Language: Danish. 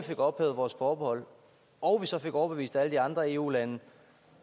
fik ophævet vores forbehold og vi så fik overbevist alle de andre eu lande